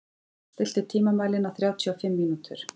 Már, stilltu tímamælinn á þrjátíu og fimm mínútur.